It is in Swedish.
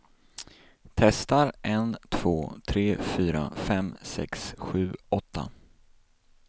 Testar en två tre fyra fem sex sju åtta.